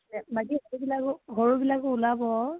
বাকী সৰু বিলাকো সৰু বিলাকো উলাব।